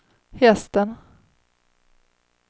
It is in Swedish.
hästen